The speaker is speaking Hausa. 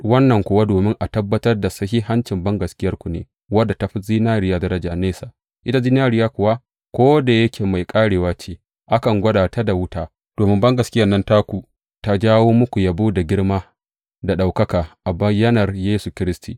Wannan kuwa domin a tabbatar da sahihancin bangaskiyarku ne, wadda ta fi zinariya daraja nesa, ita zinariya kuwa, ko da yake mai ƙarewa ce, akan gwada ta da wuta, domin bangaskiyan nan taku ta jawo muku yabo da girma da ɗaukaka a bayyanar Yesu Kiristi.